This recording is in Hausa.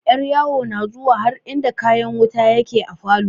Yaryawo na zuwa har inda kayan wuta yake a falo.